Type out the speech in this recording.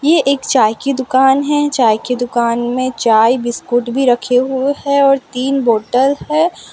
ये एक चाय की दुकान है चाय की दुकान में चाय बिस्कुट भी रखे हुए हैं और तीन बोटल है।